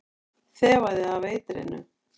Þefaði af eitrinu.